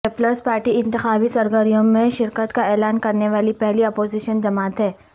Peoples Party انتخابی سرگرمیوں میں شرکت کا اعلان کرنے والی پہلی اپوزیشن جماعت ہے